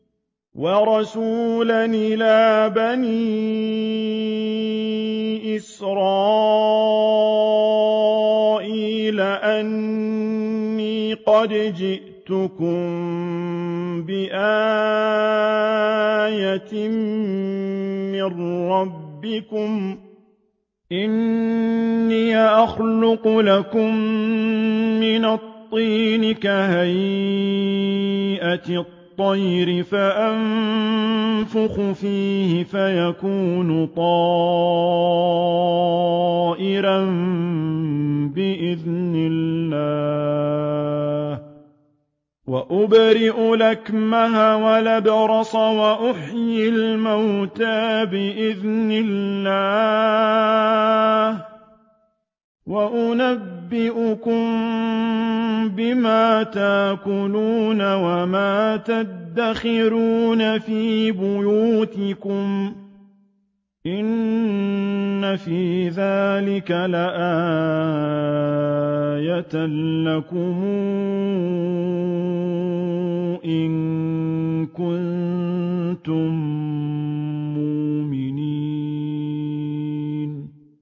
وَرَسُولًا إِلَىٰ بَنِي إِسْرَائِيلَ أَنِّي قَدْ جِئْتُكُم بِآيَةٍ مِّن رَّبِّكُمْ ۖ أَنِّي أَخْلُقُ لَكُم مِّنَ الطِّينِ كَهَيْئَةِ الطَّيْرِ فَأَنفُخُ فِيهِ فَيَكُونُ طَيْرًا بِإِذْنِ اللَّهِ ۖ وَأُبْرِئُ الْأَكْمَهَ وَالْأَبْرَصَ وَأُحْيِي الْمَوْتَىٰ بِإِذْنِ اللَّهِ ۖ وَأُنَبِّئُكُم بِمَا تَأْكُلُونَ وَمَا تَدَّخِرُونَ فِي بُيُوتِكُمْ ۚ إِنَّ فِي ذَٰلِكَ لَآيَةً لَّكُمْ إِن كُنتُم مُّؤْمِنِينَ